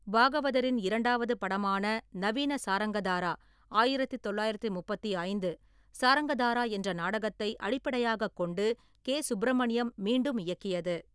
பாகவதரின் இரண்டாவது படமான நவீன சாரங்கதாரா ஆயிரத்து தொள்ளாயிரத்தி முப்பத்தி ஐந்து , சாரங்காதரா என்ற நாடகத்தை அடிப்படையாகக் கொண்டு கே. சுப்பிரமணியம் மீண்டும் இயக்கியது.